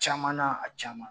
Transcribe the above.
Caman na a caman